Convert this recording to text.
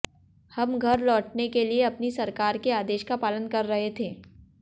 हम घर लौटने के लिए अपनी सरकार के आदेश का पालन कर रहे थे